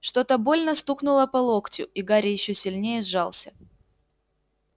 что-то больно стукнуло по локтю и гарри ещё сильнее сжался